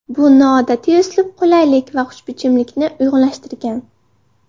Bu noodatiy uslub qulaylik va xushbichimlikni uyg‘unlashtirgan.